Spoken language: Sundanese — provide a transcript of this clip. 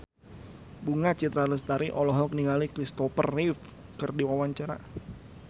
Bunga Citra Lestari olohok ningali Christopher Reeve keur diwawancara